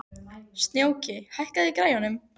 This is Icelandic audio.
Snjóki, hækkaðu í græjunum.